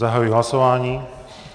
Zahajuji hlasování.